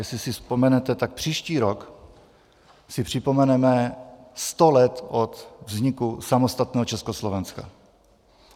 Jestli si vzpomenete, tak příští rok si připomeneme sto let od vzniku samostatného Československa.